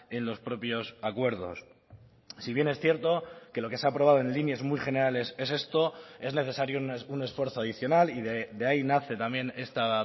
en los propios acuerdos si bien es cierto que lo que se ha aprobado en líneas muy generales es esto es necesario un esfuerzo adicional y de ahí nace también esta